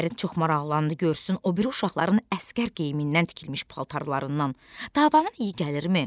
Fərid çox maraqlandı, görsün o biri uşaqların əsgər geyimindən tikilmiş paltarlarından davanın iyi gəlirmi?